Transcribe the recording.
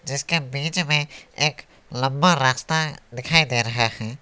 इसके बीच में एक लंबा रास्ता दिखाई दे रहा है।